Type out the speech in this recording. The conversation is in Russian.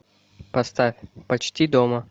поставь почти дома